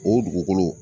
O dugukolo